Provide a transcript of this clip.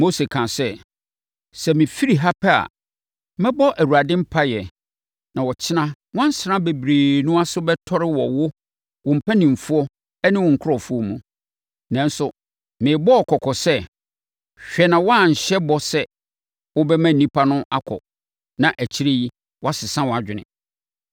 Mose kaa sɛ, “Sɛ me firi ha pɛ a, mɛbɔ Awurade mpaeɛ na ɔkyena nwansena bebrebe no ase bɛtɔre wɔ wo, wo mpanimfoɔ ne wo nkurɔfoɔ mu. Nanso, merebɔ wo kɔkɔ sɛ, hwɛ na woanhyɛ bɔ sɛ wobɛma nnipa no akɔ na akyire yi, woasesa wʼadwene.”